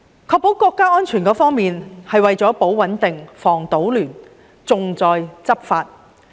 確保國家安全，是為了"保穩定、防搗亂、重在執法"。